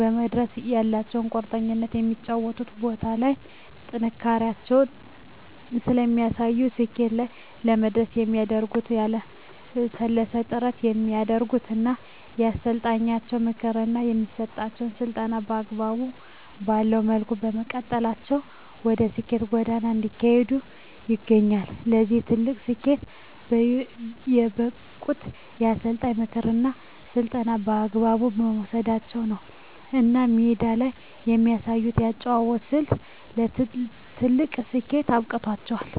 ለመድረስ ያላቸዉ ቁርጠኝነት በሚጫወቱባቸዉ ቦታዎች ላይ ጥንካሬያቸውን ስለሚያሳዩ ስኬት ላይ ለመድረስ የሚያደርጉት ያላለሰለሰ ጥረት ስለሚያደርጉ እና የአሰልጣኛቸዉን ምክር እና የሚሰጣቸዉን ስልጠና አግባብ ባለዉ መልኩ በመቀበላቸዉ ወደ ስኬት ጎዳና እየሄዱ ይገኛሉ ለዚህ ትልቅ ስኬት የበቁት የአሰልጣኝን ምክርና ስልጠና በአግባቡ መዉሰዳቸዉ ነዉ እና ሜዳ ላይ የሚያሳዩት የአጨዋወት ስልት ለትልቅ ስኬት አብቅቷቸዋል